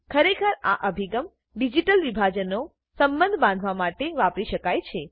ખરેખર આ અભિગમ ડિજીટલ વિભાજનનો સંબંધ બાંધવા માટે વાપરી શકાય છે